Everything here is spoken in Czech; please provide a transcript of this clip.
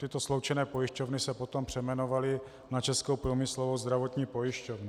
Tyto sloučené pojišťovny se potom přejmenovaly na Českou průmyslovou zdravotní pojišťovnu.